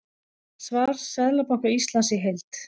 Svar Seðlabanka Íslands í heild